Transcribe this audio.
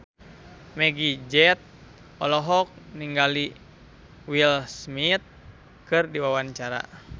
Meggie Z olohok ningali Will Smith keur diwawancara